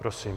Prosím.